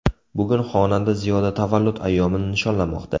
Bugun xonanda Ziyoda tavallud ayyomini nishonlamoqda.